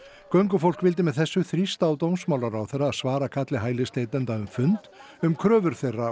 göngufólk vildi með þessu þrýsta á dómsmálaráðherra að svara kalli hælisleitenda um fund um kröfur þeirra